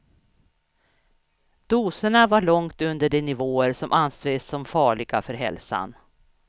Doserna var långt under de nivåer som anses som farliga för hälsan.